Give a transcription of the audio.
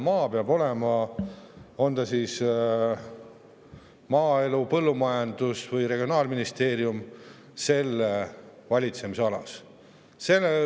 Maa peab olema maaelu-, põllumajandus- või regionaalministeeriumi valitsemisalas.